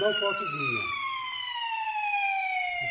Não fotos minha.